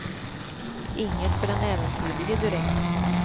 Inget för den äventyrlige, direkt.